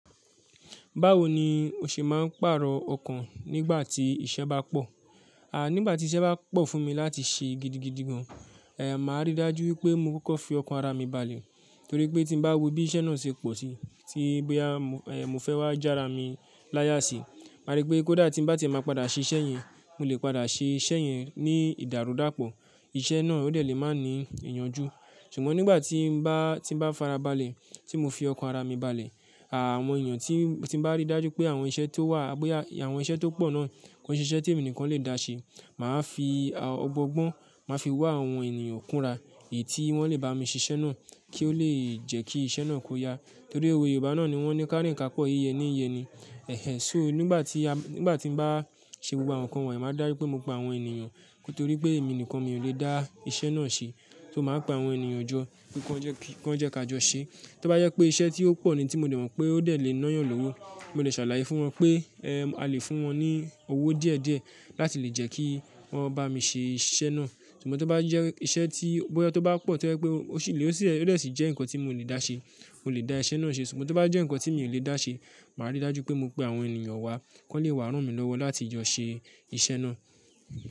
Báwo ni o ṣe máa ń pàrọ̀ ọkàn nígbà tí iṣẹ́ bá pọ̀? À, nígbà tí iṣẹ́ bá pọ̀ fún mi láti ṣe gidigidi gan, eh, màá ríi dájú wípé mo kókó fi ọkàn ara mi balẹ̀. Nítorí pé tí mo bá wo bí iṣẹ́ náà ṣe pọ̀ síi, tí bí à, eh, mo fẹ́ wá já ara mi láyà síi, màá rí pé kódà tí n bá ti máa padà ṣe iṣẹ́ yẹn, mo lè padà ṣe iṣẹ́ yẹn ní ìdàrúdàpọ̀. Iṣẹ́ náà ó lè má ní ìyanjú. Ṣùgbọ́n nígbà tí bá, tí bá farabalẹ̀, tí mo fi ọkàn ara mi balẹ̀, àwọn èèyàn tí, tí bá ríi dájú pé àwọn iṣẹ́ tó wà, pé àwọn iṣẹ́ tó pọ̀ náà kò ṣe iṣẹ́ tí èmi nìkan le dà ṣe, mà á fi ọgbọ́n-gbọ́n, mà á fi wá àwọn ènìyàn kúnra èyí tí wọ́n lè bá mi ṣiṣẹ́ náà kí ó lè jẹ́ kí iṣẹ́ náà kó yá. Nítorí owé Yorùbá náà ni wọ́n ní "Kárìn ká pọ̀ yíyẹ ní ìyẹni". Ẹ̀hẹn. So nígbà tí a, nígbà tí n bá ṣe gbogbo àwọn nǹkan wọ̀nyí, máa dá rú pé mo pa àwọn ènìyàn. Nítorí pé èmi nìkan mi ò lè dá iṣẹ́ náà ṣe. So màá pa àwọn ènìyàn jọ kí wọ́n jẹ́, kí wọ́n jẹ́ ká jọ ṣe. Tí ó bá yẹ pé iṣẹ́ tí ó pọ̀ ni tí mo dẹ̀ rò pé ó dẹ̀ lè náyàn lọ́wọ́, mo lè ṣàlàyé fún wọn pé, eh, a lè fún wọn ní owó díẹ̀díẹ̀ láti lè jẹ́ kí wọ́n bá mi ṣe iṣẹ́ náà. Ṣùgbọ́n tí ó bá yẹ, iṣẹ́ tí ó bá pọ̀ tó ẹ́ pé ó sì lè ó sì lè ó lè sì jẹ́ nǹkan tí mò lè dá ṣe, mò lè dá iṣẹ́ náà ṣe. Ṣùgbọ́n tí ó bá jẹ́ nǹkan tí mi ò lè dá ṣe, màá ríi dájú pé mo pe àwọn ènìyàn wá, kí wọ́n lè wà á ràn mí lọ́wọ́ láti jọ ṣe iṣẹ́ náà.